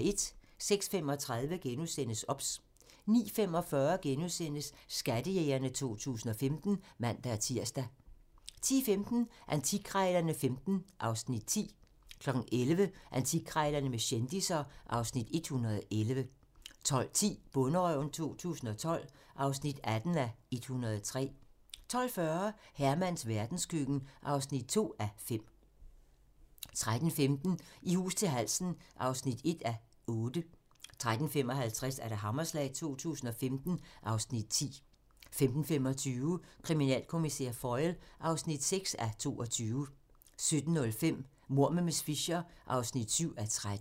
06:35: OBS * 09:45: Skattejægerne 2015 *(man-tir) 10:15: Antikkrejlerne XV (Afs. 10) 11:00: Antikkrejlerne med kendisser (Afs. 111) 12:10: Bonderøven 2012 (18:103) 12:40: Hermans verdenskøkken (2:5) 13:15: I hus til halsen (1:8) 13:55: Hammerslag 2015 (Afs. 10) 15:25: Kriminalkommissær Foyle (6:22) 17:05: Mord med miss Fisher (7:13)